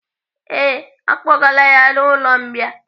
Ee, à kpọgaala ya n'ụlọ mbìa.